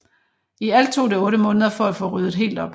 I alt tog det otte måneder for at få ryddet helt op